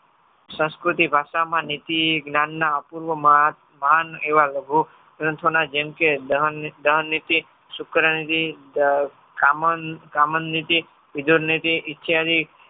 સંસ્કૃતિ ભાષામાં નીતિ જ્ઞાનના અપૂર્વમાં એવા લઘુ ગ્રંથો ના જેમકે દહનનીતિ શુક્રનીતિ કામણનીતિ